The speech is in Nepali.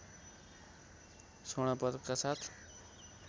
स्वर्ण पदका साथ